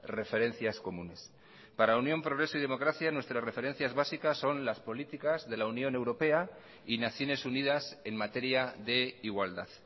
referencias comunes para unión progreso y democracia nuestras referencias básicas son las políticas de la unión europea y naciones unidas en materia de igualdad